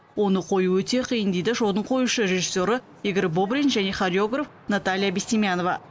оны қою өте қиын дейді шоудың қоюшы режиссері игорь бобрин және хореограф наталья бестемьянова